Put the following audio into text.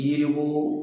Yiriko